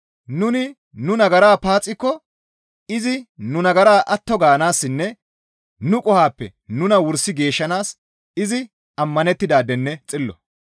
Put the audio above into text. Nuni nu nagaraa paaxikko izi nu nagaraa atto gaanaassinne nu qohoppe nuna wursi geeshshanaas izi ammanettidaadenne xillo.